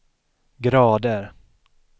grader